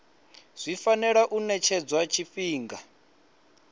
zwi fanela u ṅetshedzwa tshifhinga